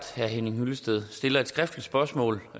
herre henning hyllested stiller et skriftligt spørgsmål